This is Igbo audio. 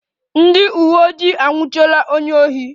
Ndị uweojii anwụchiela onye ohi